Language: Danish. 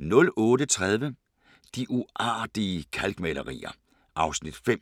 08:30: De uartige kalkmalerier (Afs. 5)